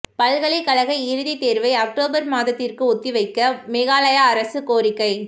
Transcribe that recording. பல்கலைக்கழக இறுதித் தேர்வை அக்டோபர் மாதத்திற்கு ஒத்திவைக்க மேகாலய அரசு கோரிக்கை